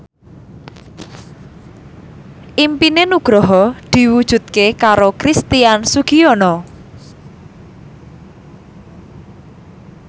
impine Nugroho diwujudke karo Christian Sugiono